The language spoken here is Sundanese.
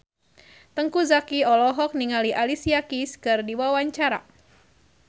Teuku Zacky olohok ningali Alicia Keys keur diwawancara